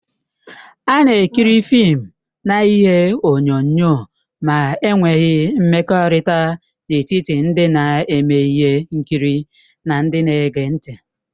A na-ekiri fịịm na ihe onyonyo ma e nweghị mmekọrịta n'etiti ndị na-eme ihe nkiri na ndị na-ege ntị.